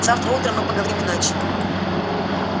завтра утром мы поговорим иначе